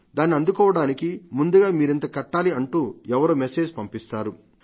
దాన్ని అందుకోవడానికి ముందుగా మీరింత కట్టాలి అంటూ ఎవరో మెస్సేజ్ పంపిస్తారు